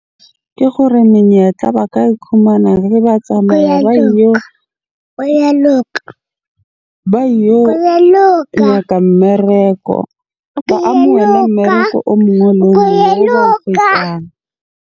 Ke gore menyetla ba ka ikhumana ba tsamaya ba e yo nyaka mmereko. Ba amohele mmereko o mongwe le o mongwe oo ba o kgwetsang.